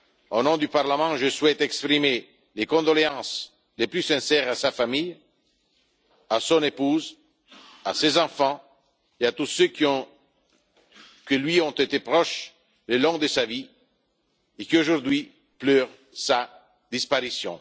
Au nom du Parlement, je souhaite exprimer les condoléances les plus sincères à sa famille, à son épouse, à ses enfants et à tous ceux qui lui ont été proches au cours de sa vie et qui, aujourd'hui, pleurent sa disparition.